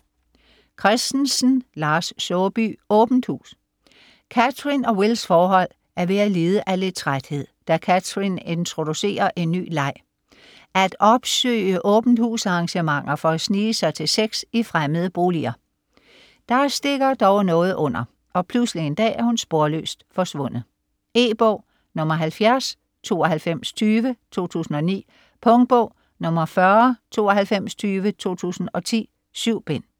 Christensen, Lars Saabye: Åbent hus Cathrin og Wills forhold er ved at lide af lidt træthed, da Cathrin introducerer en ny leg: at opsøge åbent-hus-arrangementer for at snige sig til sex i fremmede boliger. Der stikker dog noget under, og pludselig en dag er hun sporløst forsvundet. E-bog 709220 2009. Punktbog 409220 2010. 7 bind.